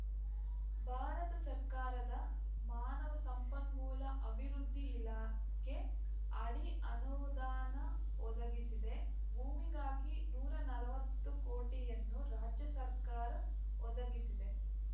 ಭಾರತ ಸರ್ಕಾರದ ಮಾನವ ಸಂಪನ್ಮೂಲ ಅಭಿವೃದ್ಧಿ ಇಲಾಖೆ ಅಡಿ ಅನುದಾನ ಒದಗಿಸಿದೆ ಭೂಮಿಗಾಗಿ ನೂರ ನಲವತ್ತು ಕೋಟಿಯನ್ನು ರಾಜ್ಯ ಸರ್ಕಾರ ಒದಗಿಸಿದೆ